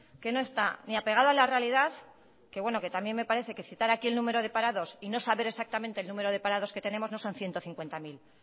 que no está ni apegado a la realidad que bueno que también me parece que citar aquí el número de parados y no saber exactamente el número de parados que tenemos no son ciento cincuenta mil